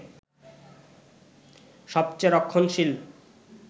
সবচেয়ে রক্ষণশীল